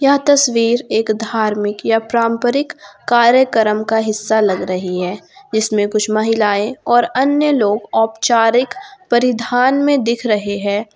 यह तस्वीर एक धार्मिक या प्राम्परिक कार्यक्रम का हिस्सा लग रही है इसमें कुछ महिलाएं और अन्य लोग औपचारिक परिधान में दिख रहे हैं।